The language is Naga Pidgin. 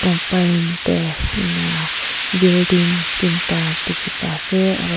teh inai building tinta dikhipa se aro.